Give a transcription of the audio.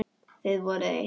Þið voruð eitt.